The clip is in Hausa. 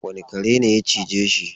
Wane kare ne ya cije shi?